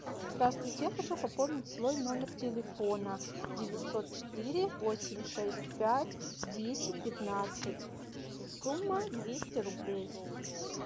здравствуйте я хочу пополнить свой номер телефона девятьсот четыре восемь шесть пять десять пятнадцать сумма двести рублей